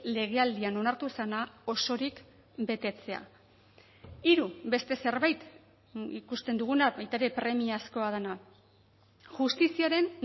legealdian onartu zena osorik betetzea hiru beste zerbait ikusten duguna baita ere premiazkoa dena justiziaren